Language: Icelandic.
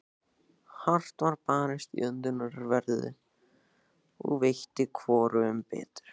Hart var barist í öndverðu, og veitti hvorugum betur.